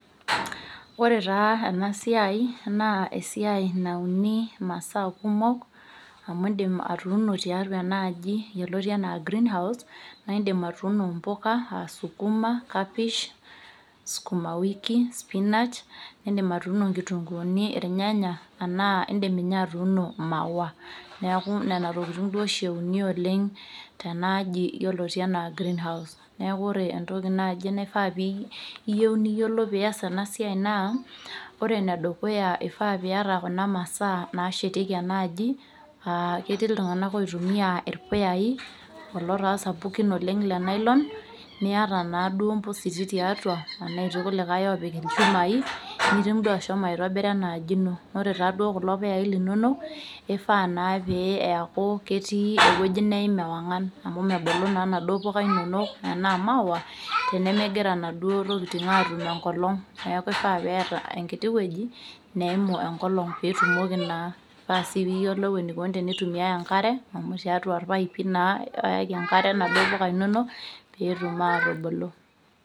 Ore taa ena siai naa esiai nauni imasaa kumok amu indim atuuno tiatua ena aji yioloti anaa greenhouse naa indim atuuno impuka aa sukuma kapish sukuma wiki spinach nindim atuuno inkitunguni irnyanya anaa indim ninye atuuno imaua neku nena tokitin duo oshi euni oleng' tenaaji yioloti enaa greenhouse neku ore entoki naaji naifaa piyieu niyiolou piyas ena siai naa ore enedukuya eifaa piyata kuna masaa nashetieki ena aji aa ketii iltung'anak oitumia irpuyai kulo taa sapukin oleng' le nylon niata naa duo impositi tiatua enaa etii kulikae opik ilchumai nitum duo ashomo aitobira ena aji ino ore taa duo kulo puyai linonok eifaa naa pee eyaku ketii ewueji neim ewang'an amu mebulu naa inaduo puka inonok enaa maua tenemegira inaduo tokitin atum enkolong' neku ifaa peeta enkiti wueji neimu enkolong pitumoki naa paasi piyiolou enikoni tenitumiae enkare amu tiatua irpaipi naa oyaki enkare inaduo puka inonok peetum atubulu.